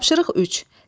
Tapşırıq 3.